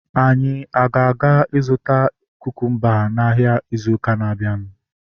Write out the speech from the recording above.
Anyị aga azụta kukumba n'ahia ịzụ ụka na-abianu?